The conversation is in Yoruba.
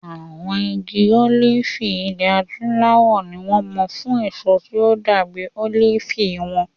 Àwọn igi olifi ilẹ̀ Adúláwọ̀ ni wọ́n mọ̀ fún èso tí ó dàbí olifi wọn.